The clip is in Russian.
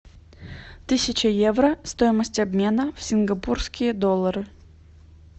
тысяча евро стоимость обмена в сингапурские доллары